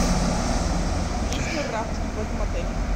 есть ли рафтинг в этом отеле